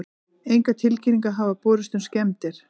Engar tilkynningar hafa borist um skemmdir